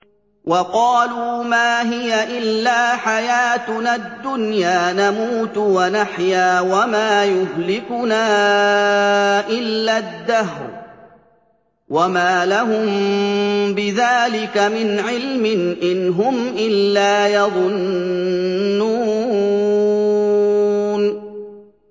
وَقَالُوا مَا هِيَ إِلَّا حَيَاتُنَا الدُّنْيَا نَمُوتُ وَنَحْيَا وَمَا يُهْلِكُنَا إِلَّا الدَّهْرُ ۚ وَمَا لَهُم بِذَٰلِكَ مِنْ عِلْمٍ ۖ إِنْ هُمْ إِلَّا يَظُنُّونَ